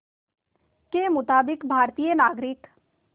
के मुताबिक़ भारतीय नागरिक